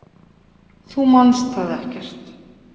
Þú manst það ekkert.